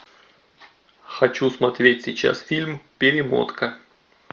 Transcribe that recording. хочу смотреть сейчас фильм перемотка